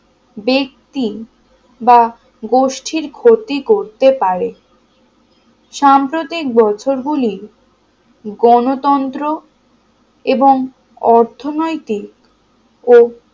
ব্যাক্তি বা গোষ্ঠীর ক্ষতি করতে পারে সাম্প্রতিক বছরগুলিই গণতন্ত্র এবং অর্থনৈতিক ও